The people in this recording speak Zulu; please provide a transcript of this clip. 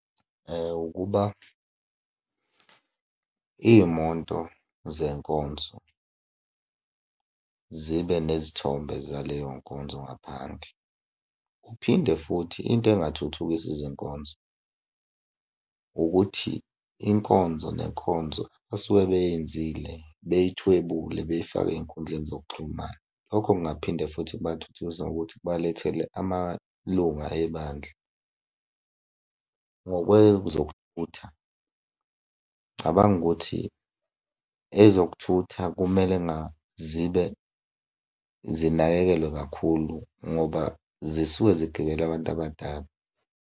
Ukuba iy'moto zey'nkonzo zibe nezithombe zaleyo nkonzo ngaphandle. Kuphinde futhi into engathuthukisa izinkonzo ukuthi inkonzo nenkonzo basuke beyenzile bey'thwebule bey'fake ey'nkundleni zokuxhumana. Lokho kungaphinde futhi kubathuthukise ngokuthi kubalethele amalunga ebandla. Ngokwezokuthutha, ngicabanga ukuthi ezokuthutha kumele nga zibe zinakekelwe kakhulu ngoba zisuke zigibele abantu abadala.